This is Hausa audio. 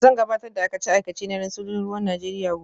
Zan gabatar da aikace-aikacena na sojojin ruwan Najeriya gobe